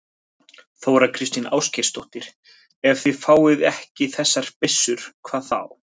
Þóra Kristín Ásgeirsdóttir: Ef þið fáið ekki þessar byssur, hvað þá?